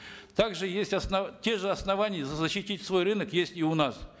также есть те же основания защитить свой рынок есть и у нас